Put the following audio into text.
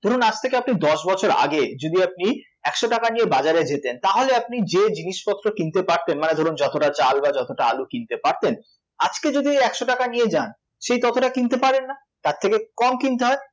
ধরুন আজকে থেকে আপনি দশ বছর আগে যদি আপনি একশ টাকা নিয়ে বাজারে যেতেন তাহলে আপনি যে জিনিসপত্র কিনতে পারতেন, মানে ধরুন যতটা চাল বা যতটা আলু কিনতে পারতেন, আজকে যদি ওই একশ টাকা নিয়ে যান সেই ততটা কিনতে পারেন না, তার থেকে কম কিনতে হয়